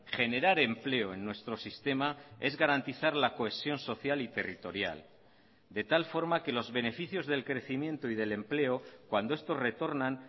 generar empleo en nuestro sistema es garantizar la cohesión social y territorial de tal forma que los beneficios del crecimiento y del empleo cuando estos retornan